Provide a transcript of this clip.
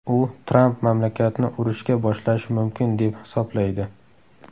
U Tramp mamlakatni urushga boshlashi mumkin deb hisoblaydi.